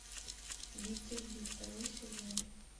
викинги второй сезон